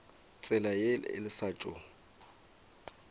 tsela ye le sa tšo